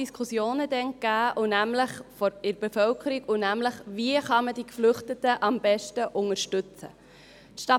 Es gab damals in der Bevölkerung grosse Diskussionen darüber, wie man die Geflüchteten am besten unterstützen kann.